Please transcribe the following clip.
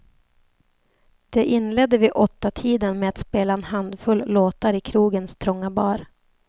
De inledde vid åttatiden med att spela en handfull låtar i krogens trånga bar.